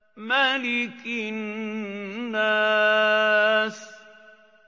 مَلِكِ النَّاسِ